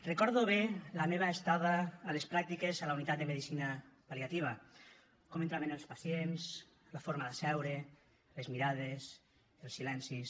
recordo bé la meva estada a les pràctiques a la unitat de medicina pal·liativa com entraven els pacients la forma de seure les mirades els silencis